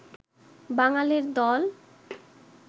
বাঙালের দল